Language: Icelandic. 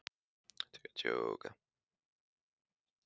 Gíslunn, hvað er í matinn á fimmtudaginn?